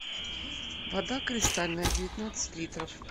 вода кристальная девятнадцать литров